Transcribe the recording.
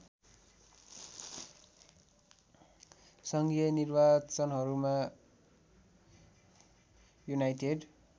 सङ्घीय निर्वाचनहरूमा युनाइटेड